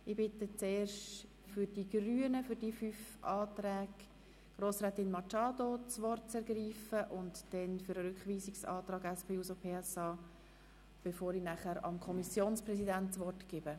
Ich bitte zuerst Grossrätin Machado Rebmann, zu den fünf Anträgen der Grünen das Wort zu ergreifen, dann den Sprecher für den Rückweisungsantrag der SP-JUSOPSA-Fraktion, bevor ich dem Kommissionspräsidenten das Wort erteile.